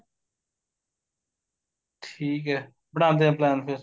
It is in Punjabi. ਠੀਕ ਏ ਬਣਾਦੇ ਆ plan ਫੇਰ